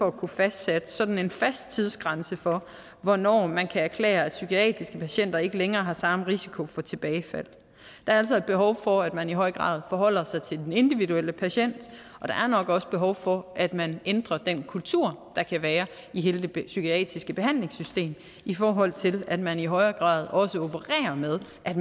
at kunne fastsætte sådan en fast tidsgrænse for hvornår man kan erklære at psykiatriske patienter ikke længere har samme risiko for tilbagefald der er altså behov for at man i høj grad forholder sig til den individuelle patient og der er nok også behov for at man ændrer den kultur der kan være i hele det psykiatriske behandlingssystem i forhold til at man i højere grad også opererer med at